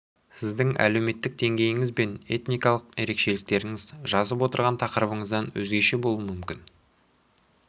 сіздің әлеуметтік деңгейіңіз бен этникалық ерекшеліктеріңіз жазып отырған тақырыбыңыздан өзгеше болуы мүмкін